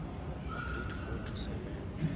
ba grade four to seven